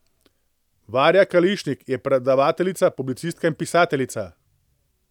Varja Kališnik je predavateljica, publicistka in pisateljica.